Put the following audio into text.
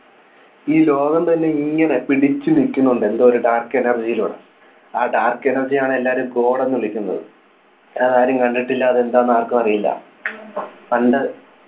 ഈ ലോകം തന്നെ ഇങ്ങനെ പിടിച്ചുനിൽക്കുന്നുണ്ട് എന്തോ ഒരു Dark energy ലൂടെ ആ Dark energy യാണ് എല്ലാവരും god എന്ന് വിളിക്കുന്നത് അത് ആരും കണ്ടിട്ടില്ല അത് എന്താന്ന് ആർക്കും അറിയില്ല പണ്ട്